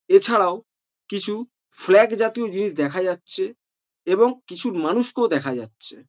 এছাড়াও কিছু ফ্ল্যাগ জাতীয় জিনিস দেখা যাচ্ছে এবং কিছু মানুষকেও দেখা যাচ্ছে।